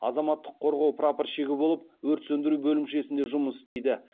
азаматтық қорғау прапорщигі болып өрт сөндіру бөлімшесінде жұмыс істейді